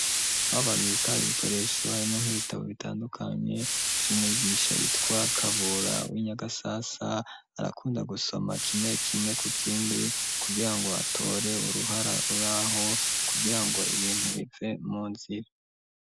Aho bababika ibikoresho harimwo nk'ibitabo bitandukanye vy'umwigisha yitwa kabura w'inyagasasa arakunda gusoma kimwe kimwe ku kindi kugira ngo atore uruhara ruraho kugira ngo ibintu bive mu nzu.